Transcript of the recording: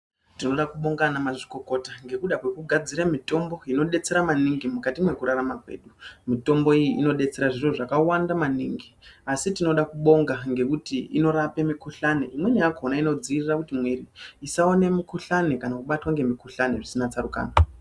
Tinoda kubonga vanamazvikokota ngekuda kwekugadzire mitombo inodetsera maningi mwukati mwekurarama kwedu. Mitombo iyi inodetsera zviro zvakawanda maningi asi tinoda kubonga ngekuti inorape mikuhlane. Imweni yakona inodzivirire kuti miviri isawane isawane mikuhlane kana kubatwa nemikuhlane zvisina tsarukano.